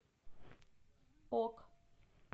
ок